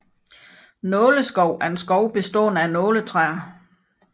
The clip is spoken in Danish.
Nåleskov er en skov bestående af nåletræer